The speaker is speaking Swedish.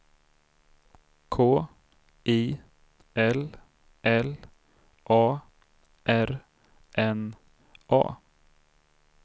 K I L L A R N A